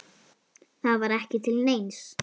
Það var ekki til neins.